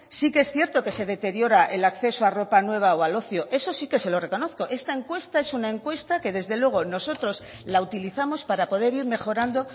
sí que es cierto que se deteriora el acceso a ropa nueva o al ocio eso sí que se lo reconozco esta encuesta es una encuesta que desde luego nosotros la utilizamos para poder ir mejorando